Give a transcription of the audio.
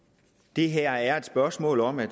det her er et spørgsmål om at